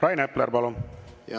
Rain Epler, palun!